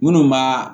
Minnu ma